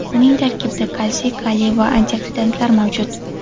Uning tarkibida kalsiy, kaliy va antioksidantlar mavjud.